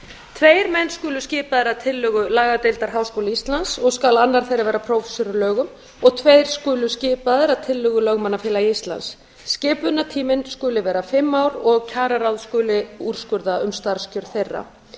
tveir menn skulu skipaðir að tillögu lagadeildar háskóla íslands og skal annar þeirra vera prófessor í lögum og tveir skulu skipaðir að tillögu lögmannafélags íslands skipunartíminn skuli vera fimm ár og kjararáð skuli úrskurða um starfskjör þeirra